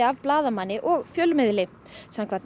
blaðamanni og fjölmiðli samkvæmt